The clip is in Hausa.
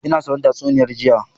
Ina sauraron tatsuniya jiya.